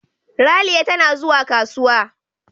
Ralia tana zuwa kasuwa.